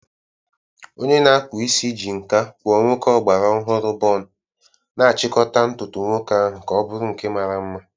Onye na-akpụ isi ji nkà kpụọ nwoke ọgbara ọhụrụ bun, na-achịkọta ntutu nwoke ahụ ka ọ bụrụ nke mara mma.